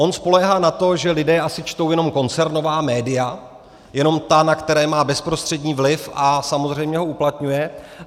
On spoléhá na to, že lidé asi čtou jenom koncernová média, jenom ta, na která má bezprostřední vliv, a samozřejmě ho uplatňuje.